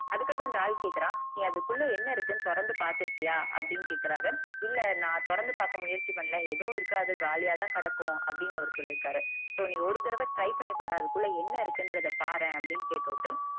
அதுக்கு அப்புறம் அந்த ஆள் கேக்குறான் நீ அதுக்குள்ளே என்ன இருக்குனு தொறந்து பாத்திருக்கியா அப்புடின்னு கேக்குறாரு இல்ல நா தொறந்து பாக்க முயற்சி பன்னல ஏதும் இருக்காது காலியாதான் கெடக்கும் அப்புடின்னு அவர் சொல்லிருக்காரு so நீ ஒரு தடவ try பண்ணி பாரு அதுக்குள்ளே என்ன இருக்குன்றத பாரேன் அப்புடின் கேட்டுவிட்டு